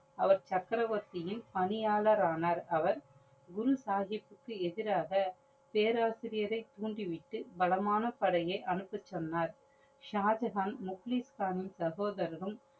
அவர் சக்கரவர்தியின் பணியாளர் ஆனார். அவர் குரு சாஹிபுக்கு எதிராக தேராசிரியரை தூண்டிவிட்டு பலமான படையை அனுப்ப சொன்னார். ஷாஜஹான் முப்ளிப்க்ஹன் சகோதரனும்